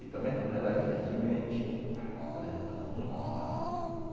E também quando ela cria semente, ela já está muito madura.